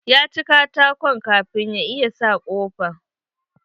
Ya ci katakon kafin ya iya sa kofan.